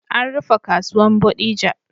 An rufe kasuwan bodija